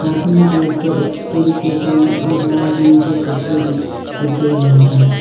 Cartoon के ऊपर एक स्टील की गास और लाल रंग के कपड़े भी रखे हुए हैं।